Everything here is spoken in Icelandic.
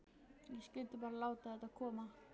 Ég skyldi bara láta þetta koma.